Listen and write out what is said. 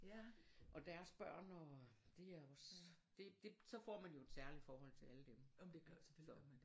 Og deres børn og de er også det det så får man jo et særligt forhold til alle dem altså så